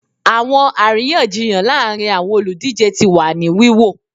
Awọn ariyanjiyan laarin awọn oludije ti wa ni wiwo